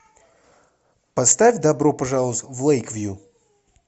поставь добро пожаловать в лэйквью